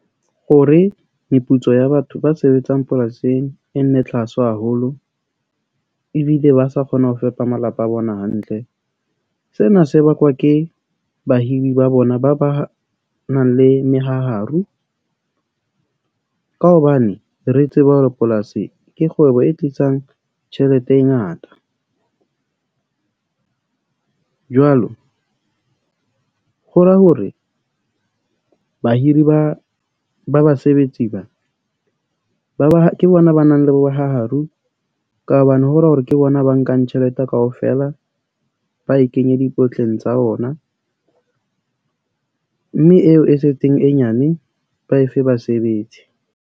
Hore meputso ya batho ba sebetsang polasing e nne tlase haholo ebile ba sa kgona ho fepa malapa a bona hantle. Sena se bakwa ke bahiri ba bona, ba ba nang le mehaharo ka hobane re tseba hore polasi ke kgwebo e tlisang tjhelete e ngata jwalo ho ra hore bahiri ba ba basebetsi ba ba ba ke bona ba nang le bohaharo. Ka hobane hore hore ke bona ba nkang tjhelete kaofela. Ba e kenye dipotleng tsa ona, mme eo e se teng e nyane, ba e fe basebetsi.